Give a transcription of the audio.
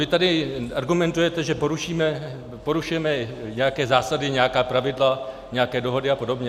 Vy tady argumentujete, že porušujeme nějaké zásady, nějaká pravidla, nějaké dohody a podobně.